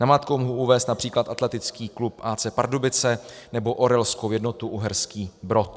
Namátkou mohu uvést například atletický klub AC Pardubice nebo Orelskou jednotu Uherský Brod.